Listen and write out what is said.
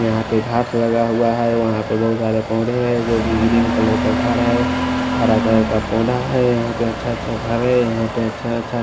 यहाँ पे घाट लगा हुआ है वहाँं पे बोहोत सारे पौधे हैं जोकि ग्रीन कलर का घारा है हरा कलर का पौधा है यहाँं पे अच्छा अच्छा घर है यहाँं पे अच्छा अच्छा --